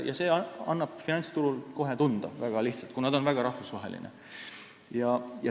See aga annab finantsturul kohe tunda, väga lihtsalt, kuna ta on väga rahvusvaheline.